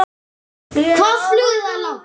Hvað flugu þeir langt?